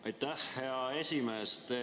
Aitäh, hea esimees!